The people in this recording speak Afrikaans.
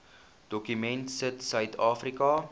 dokument sit suidafrika